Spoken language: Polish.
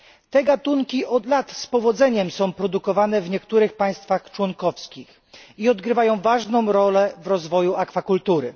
Te gatunki są od lat z powodzeniem produkowane w niektórych państwach członkowskich i odgrywają ważną rolę w rozwoju akwakultury.